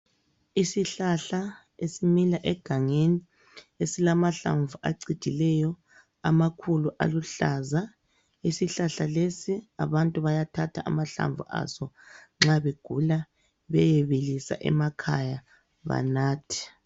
Isihlahla esimila egangeni esilamahlamvu acijileyo amakhulu aluhlaza, isihlahla lesi abantu bayathatha amahlamvu aso nxa begula beyebilisa emakhaya banathe.